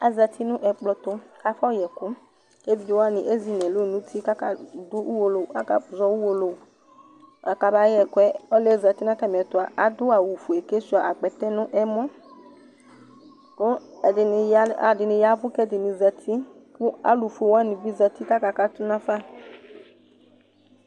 Azati nʋ ɛkplɔɛtʋ k'afʋ ɔyɛkʋ : k'evidzewanɩ ezi n'ɛlʋ n'uti k'aka dʋ uwolowu k'aka zɔ uwolowu bʋa k'ama yɛkʋɛ Ɔlʋɩɛ zati n'tamɩɛtʋ adʋ awʋfue k'asʋia akpɛtɛ nʋ ɛmɔ '; kʋ ɛdɩnɩ ya ɛdɩnɩ yavʋ k'ɛdɩnɩ zati , kʋ alʋfuewanɩ bɩ zati k'aka katʋ nafa